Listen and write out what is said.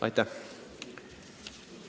Aitäh!